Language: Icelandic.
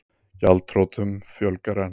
Gjaldþrotum fjölgar enn